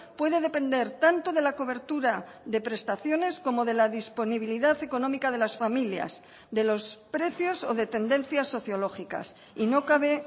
puede depender tanto de la cobertura de prestaciones como de la disponibilidad económica de las familias de los precios o de tendencias sociológicas y no cabe